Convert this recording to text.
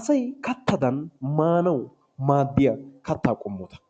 asay kattadan maanawu maaddiya kattaa qommota.